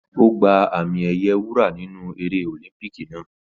Ó gba àmì ẹ̀yẹ wúrà nínú eré ọ̀límúpíkì naa